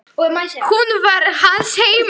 Hún var hans heima.